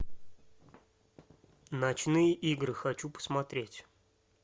ночные игры хочу посмотреть